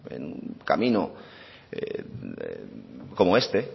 en un camino como este